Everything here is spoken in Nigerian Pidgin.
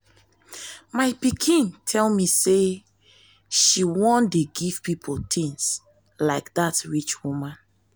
my pikin tell me say she wan dey give people things like dat rich woman